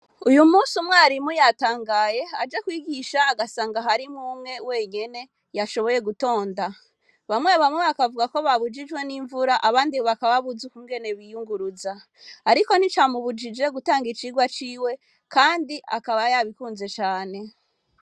Uyu munsi umwarimu yatangaye aje kwigisha agasanga harimwo umwe wenyene yashoboye gutonda bamwe bamwe bakavugako babujijwe nimvura abandi bakaba babuze ukungene biyunguruza, ariko nticamubujije gutanga icigwa ciwe kandi akaba yabikunze cane.